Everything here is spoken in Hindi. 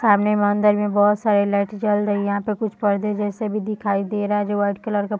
सामने मंदिर में बहुत सारे लाइट जल रही है यहाँ पर कुछ पर्दे जैसे भी दिखाई दे रहे हैं जो व्हाइट कलर का --